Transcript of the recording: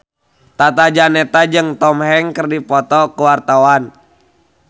Tata Janeta jeung Tom Hanks keur dipoto ku wartawan